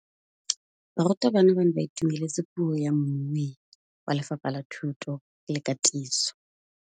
Barutabana ba ne ba itumeletse puô ya mmui wa Lefapha la Thuto le Katiso.